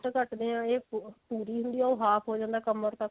ਕੱਟਦੇ ਹਾਂ ਪੂਰੀ ਹੁੰਦੀ ਆ ਉਹ half ਹੋ ਜਾਂਦਾ ਕਮਰ ਤੱਕ